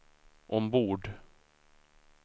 ombord